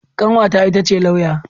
Kanwata ita ce lauya.